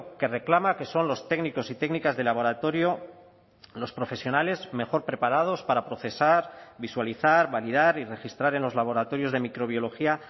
que reclama que son los técnicos y técnicas de laboratorio los profesionales mejor preparados para procesar visualizar validar y registrar en los laboratorios de microbiología